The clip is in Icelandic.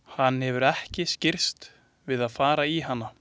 Hann hefur ekki skirrst við að fara í hana.